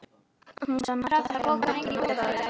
Hún sem ætti að þekkja hann betur en allir aðrir.